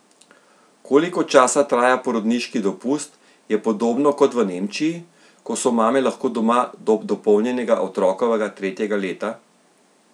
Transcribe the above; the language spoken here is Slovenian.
Koliko časa traja porodniški dopust, je podobno kot v Nemčiji, ko so mame lahko doma do dopolnjenega otrokovega tretjega leta?